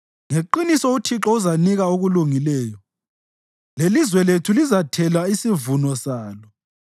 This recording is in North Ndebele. Ngeqiniso uThixo uzanika okulungileyo, lelizwe lethu lizathela isivuno salo.